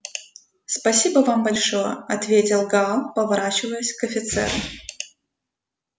спасибо вам большое ответил гаал поворачиваясь к офицеру